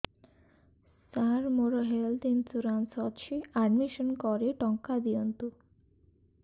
ସାର ମୋର health insurance ଅଛି admission କରି ଟଙ୍କା ଦିଅନ୍ତୁ